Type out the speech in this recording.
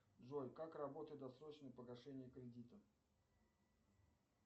джой как работает досрочное погашение кредита